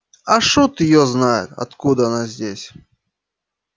а шут её знает откуда она здесь